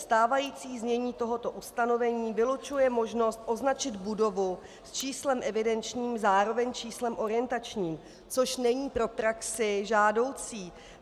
Stávající znění tohoto ustanovení vylučuje možnost označit budovu s číslem evidenčním zároveň číslem orientačním, což není pro praxi žádoucí.